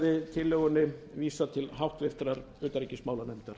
verði tillögunni vísað til háttvirtrar utanríkismálanefndar